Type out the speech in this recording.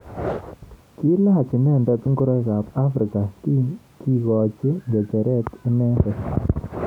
Kilach inendet ngoroik ab Afrika kikochin ngecheret inendet.